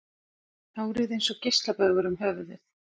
Hárið eins og geislabaugur um höfuðið.